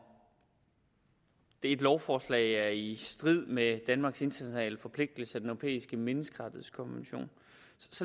et lovforslag er i strid med danmarks internationale forpligtelser europæiske menneskerettighedskonvention